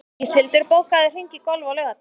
Íshildur, bókaðu hring í golf á laugardaginn.